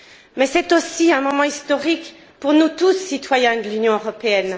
Mais c'est aussi un moment historique pour nous tous, citoyens de l'Union européenne.